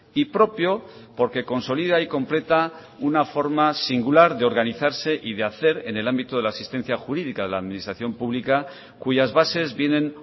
y propio porque consolida y completa una forma singular de organizarse y de hacer en el ámbito de la asistencia jurídica de la administración pública cuyas bases vienen